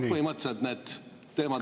Aga põhimõtteliselt need teemad …